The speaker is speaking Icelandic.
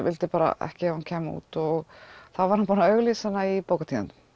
vildi bara ekki að hún kæmi út þá var hann búinn að auglýsa hana í bókatíðindum